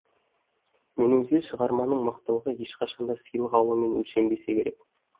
меніңше шығарманың мықтылығы ешқашан да сыйлық алумен өлшенбесе керек